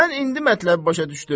Mən indi mətləbi başa düşdüm.